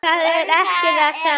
Það er ekki það sama.